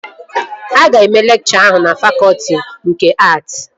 Aga eme lekchọ ahụ na fakọtị nke att?